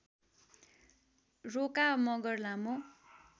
रोका मगर लामो